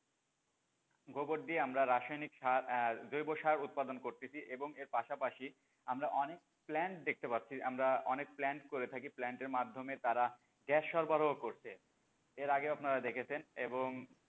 গোবর দিয়ে আমরা রাসায়নিক সার এহ জৈবসার উৎপাদন করতেছি এবং এর পাশাপাশি আমরা অনেক plant দেখতে পারতেছি আমরা অনেক plant করে থাকি, plant এর মাধ্যমে তারা গ্যাস সর্বারোহ করছে, এর আগেও আপনারা দেখেছেন,